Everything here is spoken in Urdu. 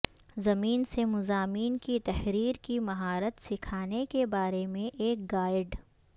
زمین سے مضامین کی تحریر کی مہارت سکھانے کے بارے میں ایک گائیڈ